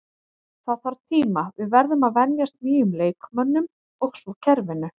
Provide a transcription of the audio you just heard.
Það þarf tíma, við verðum að venjast nýjum leikmönnum og svo kerfinu.